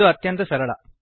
ಇದು ಅತ್ಯಂತ ಸರಳ